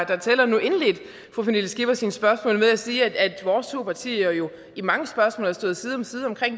der tæller nu indledte fru pernille skipper sine spørgsmål med at sige at vores to partier jo har stået side om side